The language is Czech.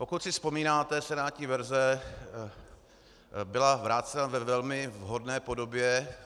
Pokud si vzpomínáte, senátní verze byla vrácena ve velmi vhodné podobě.